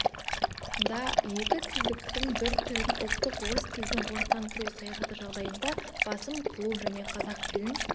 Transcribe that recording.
да екі тілдіктің бір түрін ұлттық орыс тілін орыстандыру саясаты жағдайында басым қылу және қазақ тілін